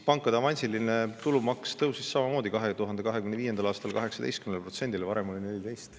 Pankade avansiline tulumaks tõusis samamoodi 2025. aastal, 18%‑le, varem oli see 14%.